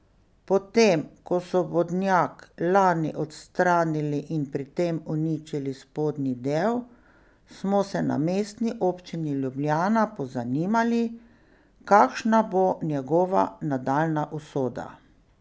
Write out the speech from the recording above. Potem ko so vodnjak lani odstranili in pri tem uničili spodnji del, smo se na Mestni občini Ljubljana pozanimali, kakšna bo njegova nadaljnja usoda.